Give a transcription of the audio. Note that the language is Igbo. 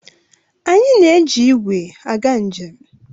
Anyị na-eji igwe aga njem.